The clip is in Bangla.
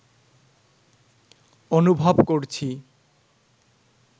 অনুভব করছি